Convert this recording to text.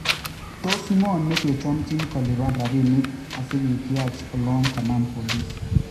Tos ng'oo nekechomchin kolipan rapink asikityach olon kanam police